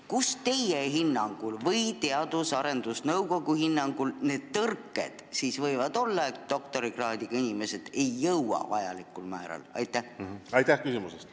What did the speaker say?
Kus teie või Teadus- ja Arendusnõukogu hinnangul need tõrked siis võivad olla, et sinna ei jõua vajalikul määral doktorikraadiga inimesi?